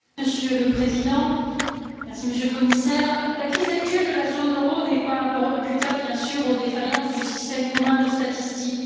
Monsieur le Président, Monsieur le Commissaire, la crise actuelle de la zone euro n'est pas imputable, bien sûr, aux défaillances du système commun de statistiques.